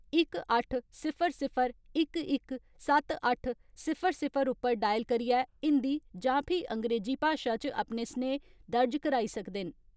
इक अट्ठ, सिफर सिफर, इक इक, सत्त अट्ठ, सिफर सिफर उप्पर डायल करियै हिन्दी जां फ्ही अंग्रेजी भाशा च अपने स्नेह दर्ज कराई सकदे न।